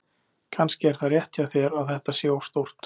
Kannski er það rétt hjá þér að þetta sé of stórt.